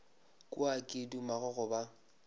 kwa ke duma go ba